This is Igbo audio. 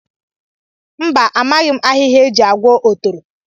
Mba, amaghị m ahịhịa e ji agwọ otoro